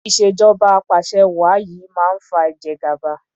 ìṣèjọba apàṣẹwàá yìí máa fa ìjẹgàba.